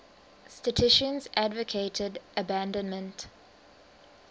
statisticians advocated abandonment